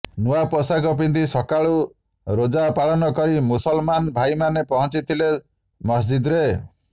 ନୂଆ ପୋଷାକ ପିନ୍ଧି ସକାଳୁ ରୋଜା ପାଳନ କରି ମୁସଲ୍ମାନ୍ ଭାଇମାନେ ପହଞ୍ଚିଥିଲେ ମସ୍ଜିଦ୍ରେ